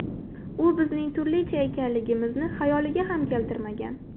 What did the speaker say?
U bizning turlicha ekanligimizni xayoliga ham keltirmagan.